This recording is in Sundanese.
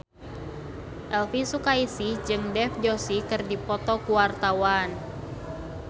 Elvy Sukaesih jeung Dev Joshi keur dipoto ku wartawan